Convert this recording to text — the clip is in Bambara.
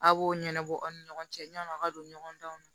A b'o ɲɛnabɔ aw ni ɲɔgɔn cɛ yann'a ka don ɲɔgɔn danw na